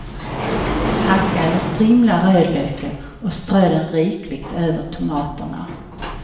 Hacka eller strimla rödlöken och strö den rikligt över tomaterna.